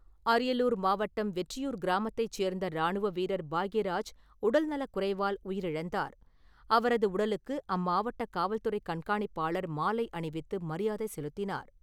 அரியலூர் மாவட்டம் வெற்றியூர் கிராமத்தைச் சேர்ந்த ராணுவ வீரர் பாக்கியராஜ் உடல்நலக் குறைவால் உயிரிழந்தார். அவரது உடலுக்கு அம்மாவட்ட காவல்துறைக் கண்காணிப்பாளர் மாலை அணிவித்து மரியாதை செலுத்தினார்.